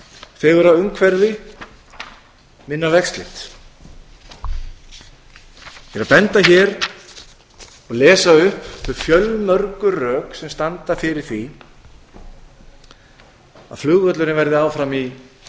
fegurra umhverfi minna vegslit ég er að benda hér og lesa upp þau fjölmörgu rök sem standa fyrir því að flugvöllurinn verði áfram í